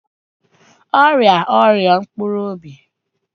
Ọ rịara ọrịa mpkuru obi